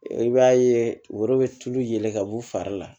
I b'a ye woro bɛ tulu yɛlɛn ka b'u fari la